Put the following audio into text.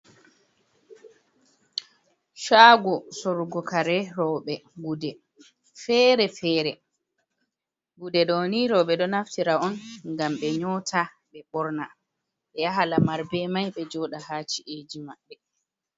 Shago sorgo kare roɓe, gude fere-fere gude ɗo ni roɓe ɗo naftira on ngam ɓe nyota, ɓe borna, ɓe yaha lamar be mai, ɓe joɗa ha ci’eji maɓɓe.